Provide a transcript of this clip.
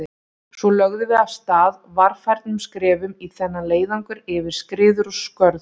Svo lögðum við af stað, varfærnum skrefum í þennan leiðangur yfir skriður og skörð.